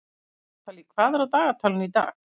Natalie, hvað er á dagatalinu í dag?